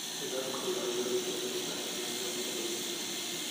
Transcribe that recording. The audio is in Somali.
Nidaamka diiwaangelinta wuxuu u baahan yahay inuu noqdo mid hufan.